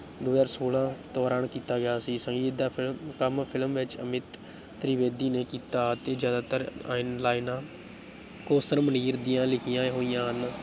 ਦੋ ਹਜ਼ਾਰ ਛੋਲਾਂ ਦੌਰਾਨ ਕੀਤਾ ਗਿਆ ਸੀ, ਸੰਗੀਤ ਦਾ film ਕੰਮ film ਵਿੱਚ ਅਮਿਤ ਤ੍ਰਿਵੇਦੀ ਨੇ ਕੀਤਾ ਅਤੇ ਜ਼ਿਆਤਰ ਲਾਇਨ੍ਹਾਂ ਕੌਸਰ ਮੁਨੀਰ ਦੀਆਂ ਲਿਖੀਆਂ ਹੋਈਆਂ ਹਨ।